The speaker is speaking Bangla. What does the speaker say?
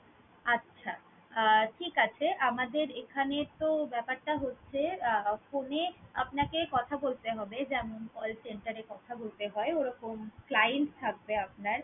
আচ্ছা, আহ ঠিক আছে। আমাদের এখানে তো ব্যাপারটা হচ্ছে আহ phone এ কথা বলতে হবে যেমন call center এ কথা বলতে হয় ওরকম client থাকবে আপনার